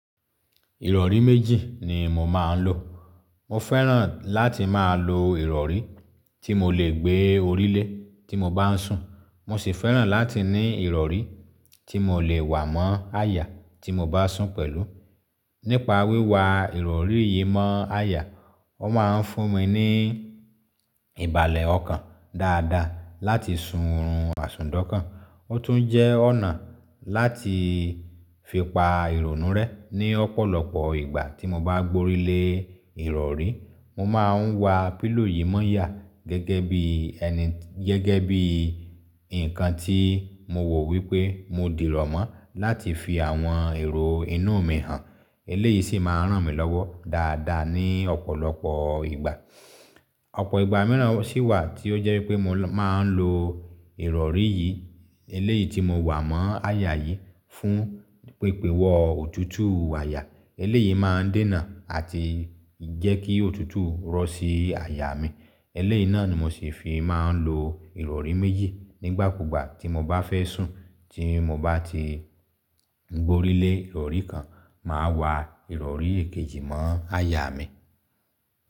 Ìrọ̀rí méjì ni mo máa ń lò. Mo fẹ́ràn láti máa lo ìrọ̀rí tí mo lè gbé orí lé tí mo bá ń sùn. Mo sì fẹ́ràn láti ní ìrọ̀rí tí mo lè wà mọ́ àyà tí mo bá sùn pẹ̀lú. Nípa wíwa ìrọ̀rí yìí mọ́ àyà, ó máa ń fún mi ní ìbàlẹ̀ ọkàn dáadáa láti sùnrún àìsùndọ́ká. Ó tún jẹ́ ọ̀nà láti fi pa ìrònú rẹ́ ní ọ̀pọ̀lọpọ̀ ìgbà tí mo bá gbo orí lé ìrọ̀rí. Mo máa ń wa pílò yìí mọ́ yà gẹ́gẹ́ bí ẹni, gẹ́gẹ́ bí nǹkan tí mo wò wípé mo dìrọ̀ mọ́ láti fi àwọn èrò inú mi hàn. Eléyìí sì máa ń ràn mí lọ́wọ́ dáadáa ní ọ̀pọ̀lọpọ̀ ìgbà. Ọ̀pọ̀ ìgbà mìíràn sì wà tí ó jẹ́ pé mo máa ń lo ìrọ̀rí yìí, eléyìí tí mo wà mọ́ àyà yìí fún pípèwọ́ òtútù àyà. Eléyìí máa ń dènà àti jẹ́ kí òtútù rọ́ sí àyà mi. Eléyìí náà ni mo sì fi máa ń lo ìrọ̀rí méjì. Nígbà kúgbà tí mo bá fẹ́ sùn tí mo bá ti gbo orí lé ìrọ̀rí kan, màá wa ìrọ̀rí èkejì mọ́ àyà mi.